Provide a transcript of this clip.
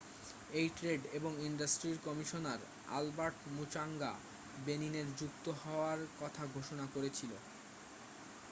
AU trade এবং ইন্ডাস্ট্রির commissioner Albert Muchanga বেনিনের যুক্ত হওয়ার কথা ঘোষণা করেছিলেন